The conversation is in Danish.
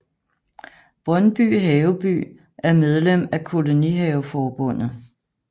Brøndby Haveby er medlem af Kolonihaveforbundet